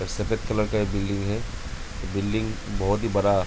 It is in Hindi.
सफेद कलर का एक बिल्डिंग है बिल्डिंग बहुत ही बड़ा --